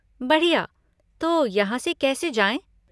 बढ़िया, तो यहाँ से कैसे जाएँ?